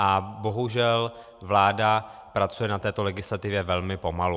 A bohužel vláda pracuje na této legislativě velmi pomalu.